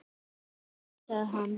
Sjáðu til, sagði hann.